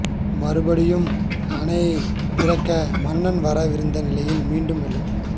மறுபடி யும் அணையைத் திறக்க மன்னர் வர விருந்த நிலையில் மீண்டும் வெள்ளம்